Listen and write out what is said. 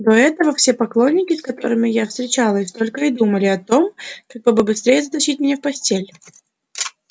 до этого все поклонники с которыми я встречалась только и думали о том как бы побыстрее затащить меня в постель